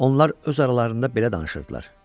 Onlar öz aralarında belə danışırdılar: